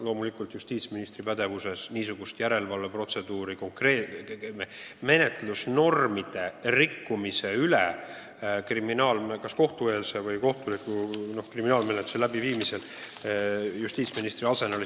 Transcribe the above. Loomulikult justiitsministri arsenalis pole menetlusnormide rikkumise järelevalve protseduuri, olgu tegu kohtueelse või kohtuliku kriminaalmenetlusega.